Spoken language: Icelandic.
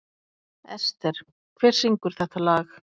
Ester, hver syngur þetta lag?